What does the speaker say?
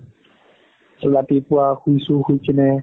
ৰাতিপুৱা শুইছো শুই কিনে